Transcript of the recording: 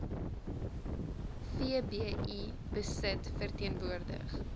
vbi besit verteenwoordig